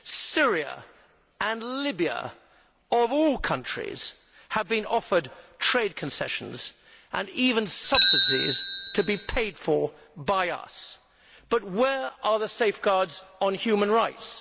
Syria and Libya, of all countries, have been offered trade concessions and even subsidies to be paid for by us, but where are the safeguards on human rights?